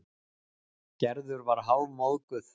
Gerður var hálfmóðguð.